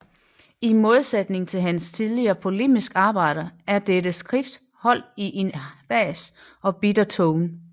I modsætning til hans tidligere polemiske arbejder er dette skrift holdt i en hvas og bitter tone